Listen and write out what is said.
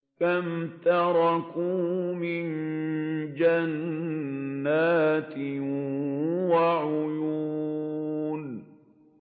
كَمْ تَرَكُوا مِن جَنَّاتٍ وَعُيُونٍ